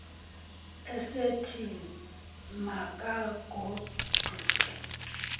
esithi ma kagoduke